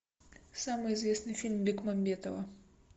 самый известный фильм бекмамбетова